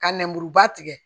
Ka nɛmuruba tigɛ